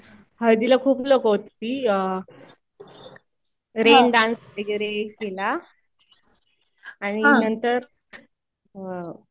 हळदीला खूप लोकं होती. रेन डान्स वगैरे केला. आणि नंतर